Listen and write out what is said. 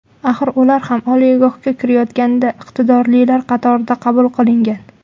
Axir ular ham oliygohga kirayotganda iqtidorlilar qatorida qabul qilingan.